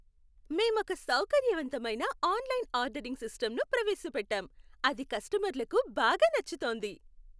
మేమొక సౌకర్యవంతమైన online ordering సిస్టంను ప్రవేశపెట్టాం, అది కస్టమర్లకు బాగా నచ్చుతోంది.